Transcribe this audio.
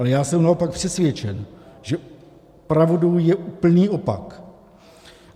Ale já jsem naopak přesvědčen, že pravdou je úplný opak.